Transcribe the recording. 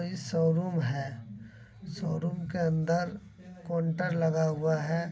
ये सोरुम है। सोरुम के अंदर कोन्टर लगा हुआ है।